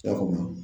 I y'a faamu